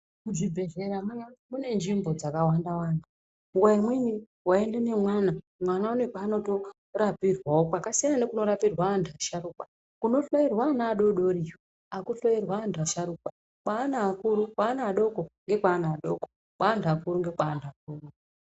Kuchibhedkera kune nzvimbo dzakawanda-wanda , wenyu imi, wenyili nomwana, mwana une kwaanotorapirwawo kwakasiyana nekumorapirwa vanamusharukwa kunotoerwa ana vadodonya hakutoerwi anhu vakuru, kweana adoko ndekwaana adoko kweanhu akuru ndekwaanhu akuru